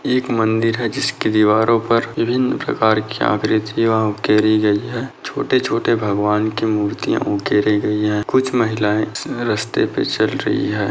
एक मंदिर है जिसके दीवारों पर विभिन्न प्रकार की आकृतीया उकेरी गयी है छोटे-छोटे भगवान के मूर्तिया उकेरी गयी है कुछ महिलाए स रास्ते पे चल रही है।